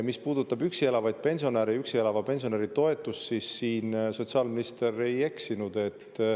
Mis puudutab üksi elavaid pensionäre ja üksi elava pensionäri toetust, siis siin sotsiaalminister ei eksinud.